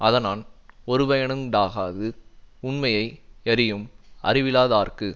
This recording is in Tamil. அதனான் ஒருபயனுண்டாகாது உண்மையை யறியும் அறிவிலாதார்க்கு